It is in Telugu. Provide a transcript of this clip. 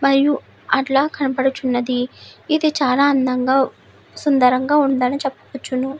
మరియు అట్లా కనబడుచున్నది ఇది చాల అందంగా సుందరంగ ఉందని చెపొచ్చును.